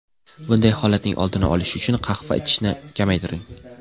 Bunday holatning oldini olish uchun qahva ichishni kamaytiring.